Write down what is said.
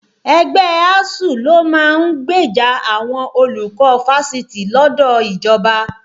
Ẹgbẹ́ ASUU ló máa ń gbèjà àwọn olùkọ́ Fáṣitì lọ́dọ̀ ìjọba